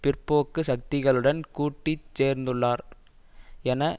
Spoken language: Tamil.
பிற்போக்கு சக்திகளுடன் கூட்டீச் சேர்ந்துள்ளார் என